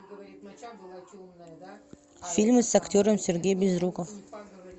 фильмы с актером сергей безруков